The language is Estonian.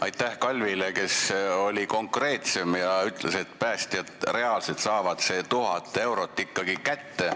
Aitäh Kalvile, kes oli konkreetsem ja ütles, et päästjad saavad selle 1000 eurot ikkagi reaalselt kätte.